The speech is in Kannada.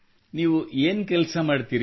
ನೀವು ಏನು ಕೆಲಸ ಮಾಡುತ್ತೀರಿ